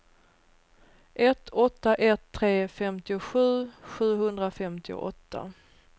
ett åtta ett tre femtiosju sjuhundrafemtioåtta